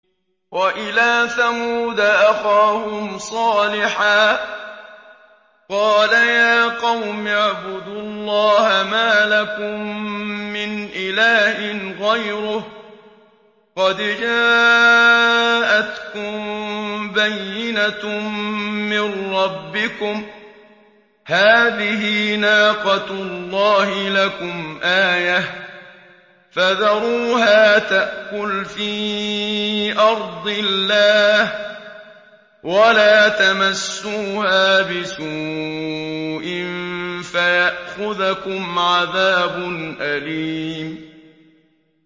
وَإِلَىٰ ثَمُودَ أَخَاهُمْ صَالِحًا ۗ قَالَ يَا قَوْمِ اعْبُدُوا اللَّهَ مَا لَكُم مِّنْ إِلَٰهٍ غَيْرُهُ ۖ قَدْ جَاءَتْكُم بَيِّنَةٌ مِّن رَّبِّكُمْ ۖ هَٰذِهِ نَاقَةُ اللَّهِ لَكُمْ آيَةً ۖ فَذَرُوهَا تَأْكُلْ فِي أَرْضِ اللَّهِ ۖ وَلَا تَمَسُّوهَا بِسُوءٍ فَيَأْخُذَكُمْ عَذَابٌ أَلِيمٌ